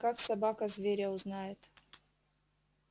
как собака зверя узнает